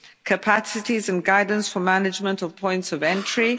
capacities and guidance for management of points of entry